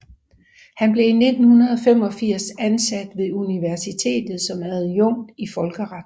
Han blev i 1985 ansat ved universitetet som adjunkt i folkeret